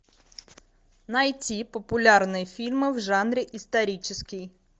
найти популярные фильмы в жанре исторический